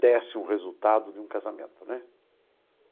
desse um resultado de um casamento, né?